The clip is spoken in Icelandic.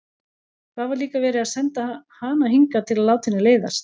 Hvað var líka verið að senda hana hingað til að láta henni leiðast?